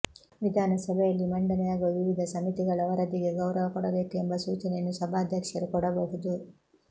ವಿಧಾನ ಸಭೆಯಲ್ಲಿ ಮಂಡನೆಯಾಗುವ ವಿವಿಧ ಸಮಿತಿಗಳ ವರದಿಗೆ ಗೌರವ ಕೊಡಬೇಕು ಎಂಬ ಸೂಚನೆಯನ್ನು ಸಭಾಧ್ಯಕ್ಷರು ಕೊಡಬಹುದು